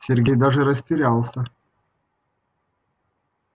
сергей даже растерялся